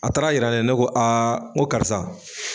A taara jira ne ko aa n ko karisa